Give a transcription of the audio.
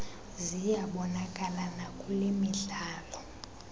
ziyabonakala nakule midlalo